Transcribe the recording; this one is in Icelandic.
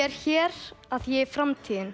er hér því ég er framtíðin